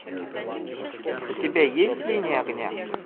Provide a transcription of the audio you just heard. у тебя есть линия огня